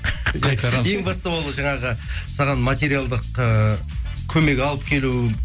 ең бастысы ол жаңағы саған материалдық ыыы көмек алып келу